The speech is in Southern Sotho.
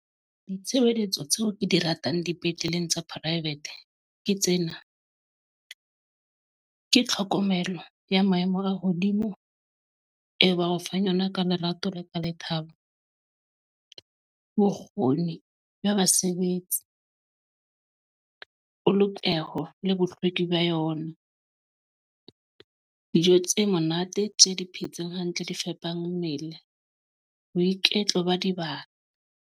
Ditshebeletso tseo ke di ratang dipetleleng tsa private ke tsena. Ke tlhokomelo ya maemo a hodimo e ba o fang yona ka lerato le ka lethabo. Bokgoni ba basebetsi. Polokeho le bohlweki ba yona. Dijo tse monate, tse di phetseng hantle, di fepa mmele. Boiketlo ba dibaka.